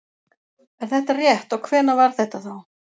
Er þetta rétt og hvenær var þetta þá?